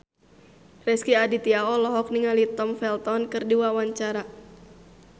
Rezky Aditya olohok ningali Tom Felton keur diwawancara